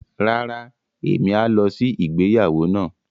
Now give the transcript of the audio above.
Rárá, emi a lọ sí ìgbéyàwó náà.